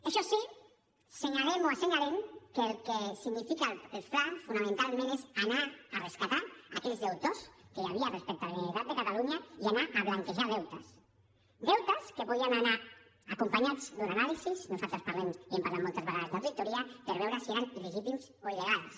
això sí senyalem o assenyalem que el que significa el fla fonamentalment és anar a rescatar aquells deutors que hi havia respecte a la generalitat de catalunya i anar a blanquejar deutes deutes que podien anar acompanyats d’una anàlisi nosaltres parlem i hem parlat moltes vegades d’auditoria per veure si eren il·legítims o il·legals